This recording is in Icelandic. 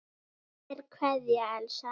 Kær kveðja, Elsa.